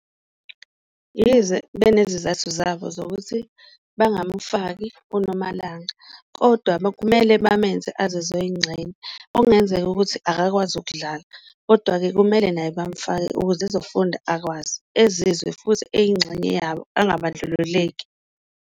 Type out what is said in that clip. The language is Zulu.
Yize benezizathu zabo zokuthi bangamufaki uNomalanga kodwa bekumele bamenze azizwe eyingxenye, okungenzeka ukuthi akakwazi ukudlala kodwa-ke kumele naye bamufake ukuze ezofunda akwazi, ezizwe futhi eyingxenye yabo angabandlululeki.